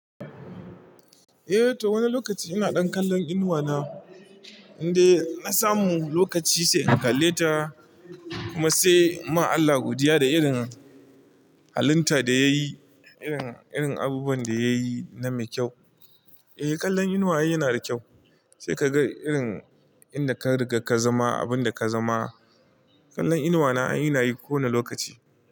Eh to wani lokaci ina dan kallon inuwa na, indai na samu lokaci sai in kalle ta kuma sai ma Allah godiya da irin hallita da yayi, irin abubuwan da yayi na mai kyau. Eh kallon inuwa yana da kyau, sai ka ga irin inda ka riga ka zama, abinda ka zama. Kallon inuwa na a ina yi kowane lokaci.